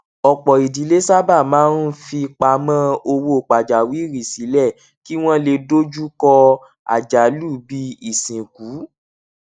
ọpọ idílé sábà máa ń fipamọ owó pajawiri sílẹ kí wọn lè dojú kọ àjálù bíi isinku